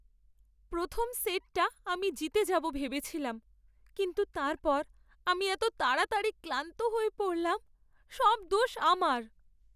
প্রথম সেটটা আমি জিতে যাবো ভেবেছিলাম, কিন্তু তারপর আমি এত তাড়াতাড়ি ক্লান্ত হয়ে পড়লাম! সব দোষ আমার।